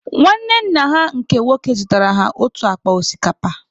Nwanne nna ha nke nwoke zụtara ha otu akpa osikapa.